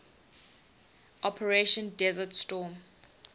operation desert storm